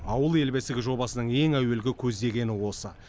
ауыл ел бесігі жобасының ең әуелгі көздегені осы